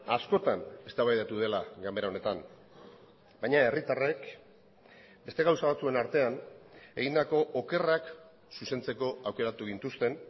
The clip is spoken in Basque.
askotan eztabaidatu dela ganbera honetan baina herritarrek beste gauza batzuen artean egindako okerrak zuzentzeko aukeratu gintuzten